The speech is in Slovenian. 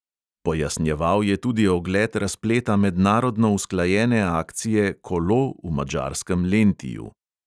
Pojasnjeval je tudi ogled razpleta mednarodno usklajene akcije kolo v madžarskem lentiju.